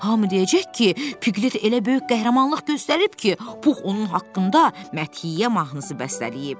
Hamı deyəcək ki, Pqlet elə böyük qəhrəmanlıq göstərib ki, Pux onun haqqında məthiyə mahnısı bəstələyib.